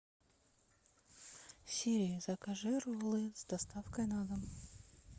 сири закажи роллы с доставкой на дом